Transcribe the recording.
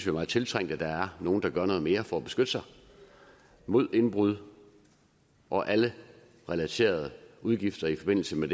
er meget tiltrængt at der er nogle der gør noget mere for at beskytte sig mod indbrud og alle relaterede udgifter i forbindelse med